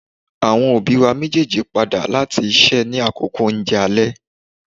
Awọn obi wa mejeeji pada lati iṣẹ ni akoko ounjẹ alẹ